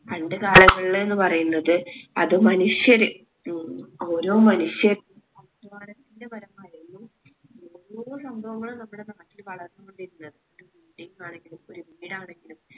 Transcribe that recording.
പണ്ട് കാലങ്ങളില് ന്ന്‌ പറിയ്ന്നത് അതു മനുഷ്യര് മ്മ് ഓരോ മനുഷ്യര് ഓരോ സംഭവങ്ങള് നമ്മളെ നാട്ടിൽ വളർന്നു കൊണ്ടിരുന്നത് ഒരു building ആണെങ്കിലും ഒരു വീട് ആണെങ്കിലും